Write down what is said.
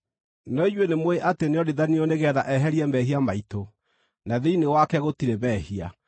No inyuĩ nĩmũũĩ atĩ nĩonithanirio nĩgeetha eherie mehia maitũ. Na thĩinĩ wake gũtirĩ mehia.